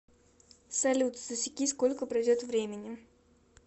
салют засеки сколько пройдет времени